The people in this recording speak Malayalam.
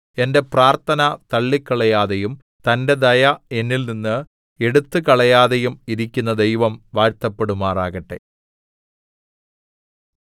എന്റെ പ്രാർത്ഥന തള്ളിക്കളയാതെയും തന്റെ ദയ എന്നിൽനിന്ന് എടുത്തുകളയാതെയും ഇരിക്കുന്ന ദൈവം വാഴ്ത്തപ്പെടുമാറാകട്ടെ